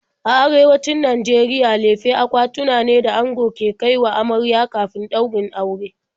A Arewacin Najeriya lefe akwatuna ne da ango ke kai wa amarya kafin ɗaurin aure.